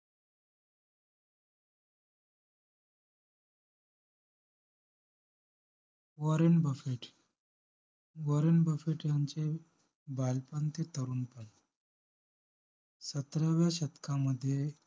Warren Buffett Warren Buffett यांचे बालपण ते तरुणपण सतराव्या शतकामध्ये